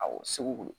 Awɔ segu